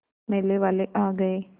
मेले वाले आ गए